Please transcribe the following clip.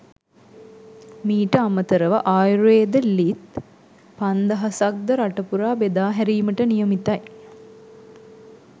මීට අමතරව ආයුර්වේද ලිත් පන්දහසක් ද රටපුරා බෙදාහැරීමට නියමිතයි.